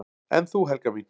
"""En þú, Helga mín?"""